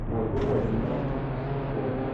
ольгу владимировну шумкову